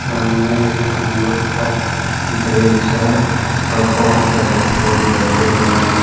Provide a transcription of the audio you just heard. सामने एक अमरूद का वृक्ष है और बहुत सारे फूल लगे हुए हैं।